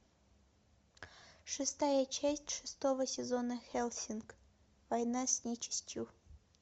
шестая часть шестого сезона хеллсинг война с нечистью